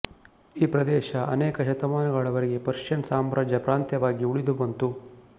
ಈ ಪ್ರದೇಶ ಅನೇಕ ಶತಮಾನಗಳ ವರೆಗೆ ಪರ್ಷಿಯನ್ ಸಾಮ್ರಾಜ್ಯದ ಪ್ರಾಂತ್ಯವಾಗಿ ಉಳಿದು ಬಂತು